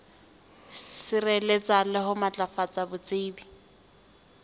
sireletsa le ho matlafatsa botsebi